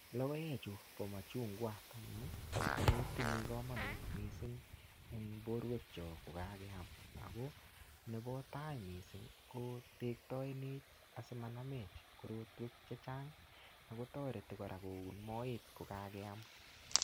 Logoek chu bo machungwa ko tinye komonut mising en borwek chok ko kageam. Ago nebotai mising ko tektoenech asimanamech korotwek chechang ago toreti kora koun moet ko kageam.